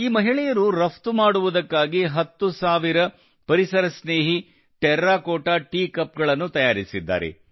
ಈ ಮಹಿಳೆಯರು ರಫ್ತು ಮಾಡುವುದಕ್ಕಾಗಿ ಹತ್ತು ಸಾವಿರ ಪರಿಸರ ಸ್ನೇಹಿ ಟೆರ್ರಕೋಟಾ ಟೀ ಕಪ್ ಗಳನ್ನು ತಯಾರಿಸಿದ್ದಾರೆ